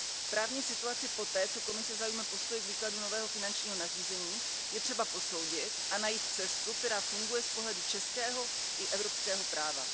Právní situaci poté, co Komise zaujme postoj k výkladu nového finančního nařízení, je třeba posoudit a najít cestu, která funguje z pohledu českého i evropského práva.